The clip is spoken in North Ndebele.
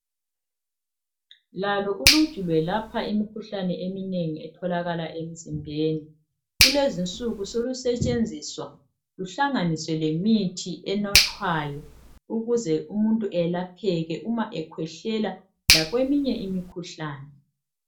Lalo uluju lwelapha imikhuhlane eminengi etholakala emizimbeni, kulezinsuku solisetshenziswa luhlanganiswe lemithi enathwayo ukuze umuntu eyelapheke uma ekhwehlela lakweminye imikhuhlane.